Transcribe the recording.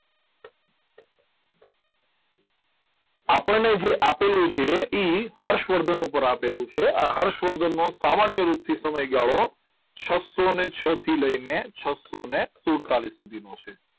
આપણને જે આપેલું છે એ હર્ષવર્ધન ઉપર આપેલું છે આ હર્ષવર્ધનનો સામાન્ય રૂપથી સમય ગાળો છસોને છ થી લઈને છસોને સૂડતડિસ સુધીનો છે